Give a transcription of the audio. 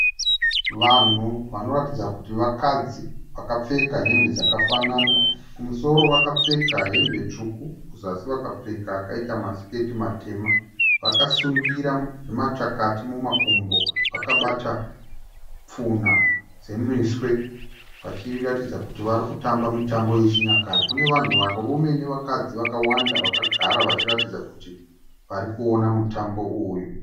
Vanhu vanoratidza kuti vakadzi, vakapfeka hembe dzakafanana. Kumusoro vakapfeka hembe tsvuku kuzasi vakapfeka akaita masiketi matema. Vakasungira machakati mumakumbo vakabata pfunha dzemiswe vachiratidza kuti vari kutamba mitambo yechinyakare. Kune vanhu varume nevakadzi vakawanda vakagara vachiratidza kuti vari kuona mutambo uyu.